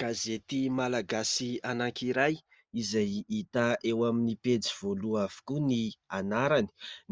Gazety malagasy anankiray izay hita eo amin'ny pejy voalohany avokoa ny anarany,